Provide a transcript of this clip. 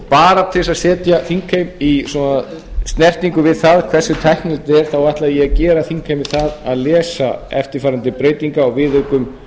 bara til að setja þingheim í svona snertingu við það hversu tæknilegt þetta er þá ætla ég að gera þingheimi það að lesa eftirfarandi breytingu á viðaukum